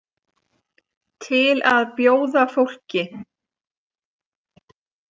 Til að bjóða fólki.